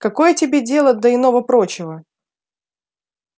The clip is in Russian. какое тебе дело до иного-прочего